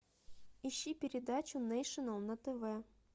ищи передачу нейшенел на тв